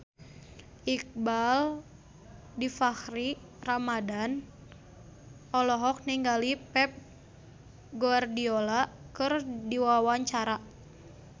Iqbaal Dhiafakhri Ramadhan olohok ningali Pep Guardiola keur diwawancara